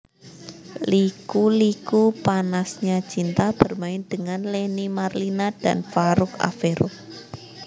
Liku Liku Panasnya Cinta bermain dengan Lenny Marlina dan Farouk Affero